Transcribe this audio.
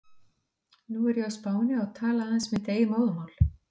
Nú er ég á Spáni og tala aðeins mitt eigið móðurmál.